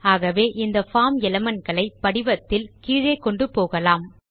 ஆகவே இந்த form element களை படிவத்தில் கீழே கொண்டு போகலாம்